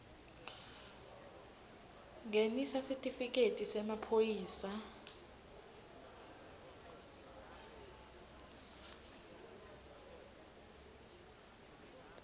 ngenisa sitifiketi semaphoyisa